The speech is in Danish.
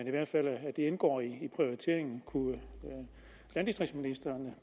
i hvert fald indgår i prioriteringerne kunne landdistriktsministeren